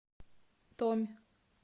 томь